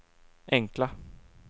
enkla